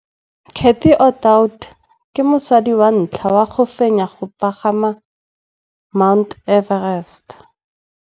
Cathy Odowd ke mosadi wa ntlha wa go fenya go pagama ga Mt Everest.